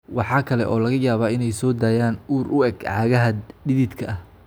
Waxa kale oo laga yaabaa inay soo daayaan ur u eg cagaha dhididka ah.